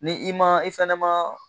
Ni i ma i fɛnɛ ma